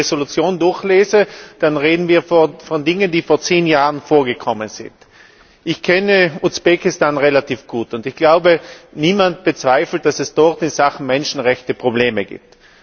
Wenn ich mir die Entschließung durchlese, dann reden wir von Dingen, die vor zehn Jahren vorgekommen sind. Ich kenne Usbekistan relativ gut, und ich glaube, niemand bezweifelt, dass es dort in Sachen Menschenrechte Probleme gibt.